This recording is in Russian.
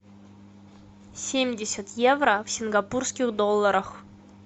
семьдесят евро в сингапурских долларах